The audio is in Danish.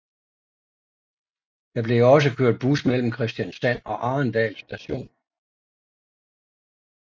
Der blev også kørt bus mellem Kristiansand og Arendal Station